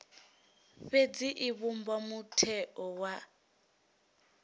fhedzi i vhumba mutheo wa